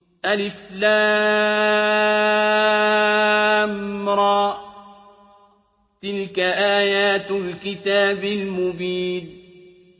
الر ۚ تِلْكَ آيَاتُ الْكِتَابِ الْمُبِينِ